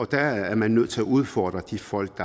der er man nødt til at udfordre de folk